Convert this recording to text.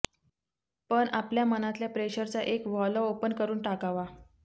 पण आपल्या मनातल्या प्रेशरचा एक व्हॉल्व्ह ओपन करून टाकावा